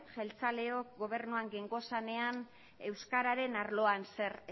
jeltzaleok gobernuan gengozanean euskararen arloan zer